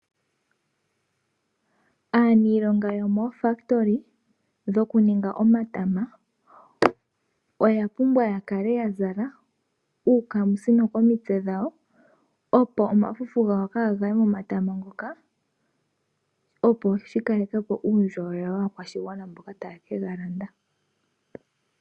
Aaniilonga yomooFabulika dhokuninga omatama oya pumbwa yakale yazala uukamisino komitsike dhawo opo omafufu gawo kaagaye nomatama moka opo yakalekepo uundjolowele waakwashigwana mboka taye kega landa.